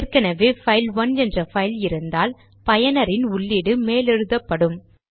ஏற்கெனெவே file one என்ற file இருந்தால் பயனரின் உள்ளீடு மேலெழுதப்படும்